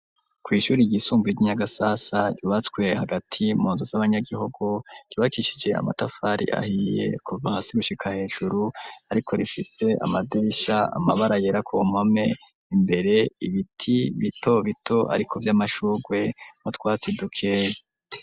Kw'ishuri ry'isumbuye ry'inyagasasa, yubatswe hagati munzu z'abanyagihugu, ryubakishije amatafari ahiye kuva hasi gushika hejuru ariko rifise amadirisha amabara yera ku mpome imbere ibiti bito bito ariko vy'amashugwe n'utwatsi duke.